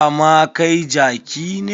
Dama kai jaki ne.